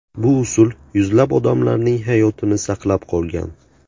Bu usul yuzlab odamlarning hayotini saqlab qolgan.